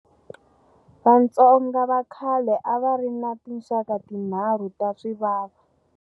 Vatsonga va khale a va ri na tinxaka tinharhu ta swivava.